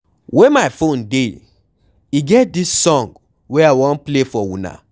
Where my phone dey? E get dis song wey I wan play for una.